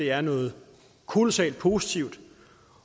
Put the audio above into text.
er noget kolossalt positivt